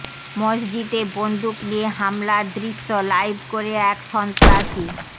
মসজিদে বন্দুক নিয়ে হামলার দৃশ্য লাইভ করে এক সন্ত্রাসী